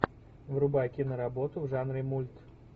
врубай киноработу в жанре мульт